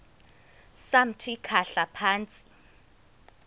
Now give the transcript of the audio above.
samthi khahla phantsi